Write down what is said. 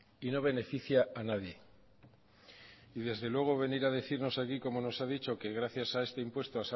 y no beneficia a nadie y desde luego venir a decirnos aquí como nos ha dicho que gracias a este impuesto